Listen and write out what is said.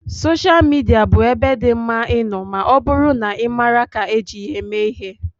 Sosha Midia bụ ebe dị mma ịnọ ma ọ bụrụ na ị maara ka eji ya eme ihe.